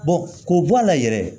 k'o bɔ a la yɛrɛ